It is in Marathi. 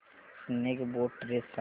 स्नेक बोट रेस सांग